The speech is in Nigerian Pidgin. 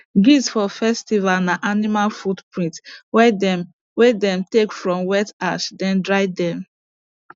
gifts for festival na animal footprint wey dem wey dem take from wet ash then dry them